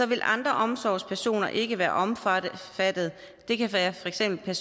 vil andre omsorgspersoner ikke være omfattet det kan for eksempel